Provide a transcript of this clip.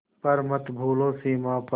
पर मत भूलो सीमा पर